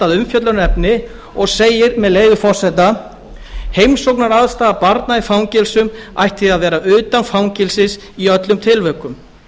umfjöllunarefni og segir með leyfi forseta heimsóknaraðstaða barna í fangelsum ætti því að vera utan fangelsis í öllum tilvikum